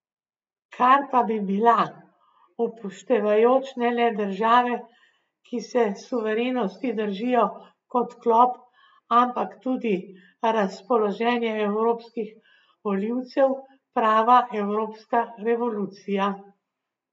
Kar pa bi bila, upoštevajoč ne le države, ki se suverenosti držijo kot klop, ampak tudi razpoloženje evropskih volivcev, prava evropska revolucija.